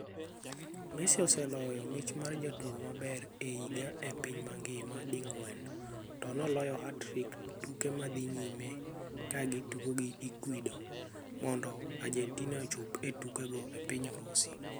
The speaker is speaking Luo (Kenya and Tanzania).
Messi, oseloyo mich mar jatugo maber e higa e piny mangima ding'wen to noloyo hat-trick tuke mad dhi nyime kagi tugo gi Ecuador mondo Argentina ochop e tuke go e piny Urusi.